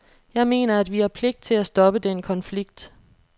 Jeg mener, at vi har pligt til at stoppe den konflikt.